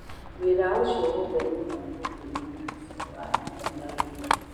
Wĩra ũcio wothe nĩ ũgaathũkio nĩ ngari cia waya", nĩ araũgire.